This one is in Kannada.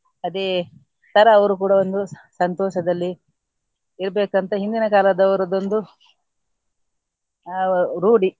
ಅದೇ ತರ ಅವರು ಕೂಡ ಒಂದು ಸಂತೋಷದಲ್ಲಿ ಇರ್ಬೇಕಂತ ಹಿಂದಿನ ಕಾಲದವರದೊಂದು ಆ ರೂಢಿ.